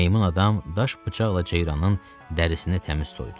Meymun adam daş bıçaqla ceyranın dərisini təmiz soydu.